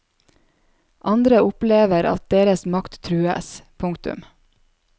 Andre opplever at deres makt trues. punktum